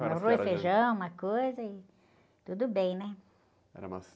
rroz, feijão, uma coisa e tudo bem, né?ra uma...